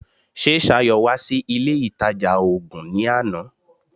Ṣé Ṣayọ̀ wá sí ilé ìtajà oògun ní àná?